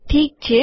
ઠીક છે